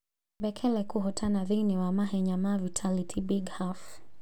Bekele kũhotana thĩinĩ wa mahenya ma Vitality Big Half